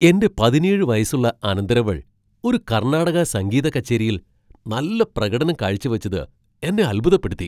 എന്റെ പതിനേഴ് വയസ്സുള്ള അനന്തരവൾ ഒരു കർണാടക സംഗീത കച്ചേരിയിൽ നല്ല പ്രകടനം കാഴ്ചവെച്ചത് എന്നെ അത്ഭുതപ്പെടുത്തി.